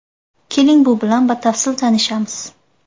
Keling, bu bilan batafsil tanishamiz.